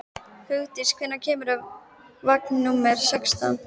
Hugdís, hvenær kemur vagn númer sextán?